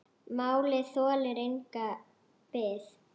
Málið þolir enga bið.